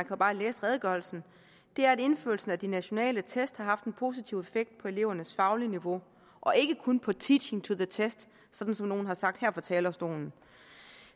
jo bare læse redegørelsen er at indførelsen af de nationale test har haft en positiv effekt på elevernes faglige niveau og ikke kun på teaching to the test sådan som nogle har sagt her fra talerstolen